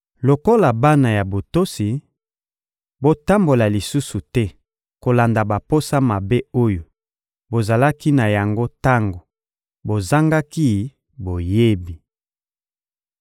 Lokola bana ya botosi, botambola lisusu te kolanda baposa mabe oyo bozalaki na yango tango bozangaki boyebi.